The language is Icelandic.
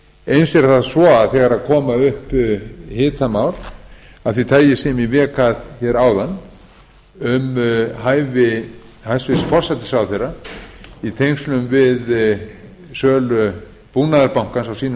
eins er það svo að þegar koma upp hitamál af því tagi sem ég vék að hér áðan um hæfi hæstvirtur forsætisráðherra í tengslum við sölu búnaðarbankans á sínum